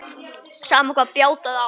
Sama hvað bjátaði á.